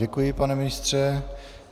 Děkuji, pane ministře.